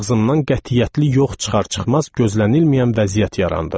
Ağzımdan qətiyyətli yox çıxar-çıxmaz gözlənilməyən vəziyyət yarandı.